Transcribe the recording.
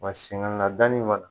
Wa sɛnŋɛ na danni kɔni